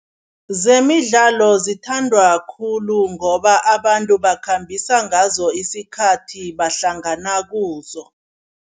Zemidlalo zithandwa khulu ngoba abantu bakhambisa ngazo isikhathi, bahlangana kuzo.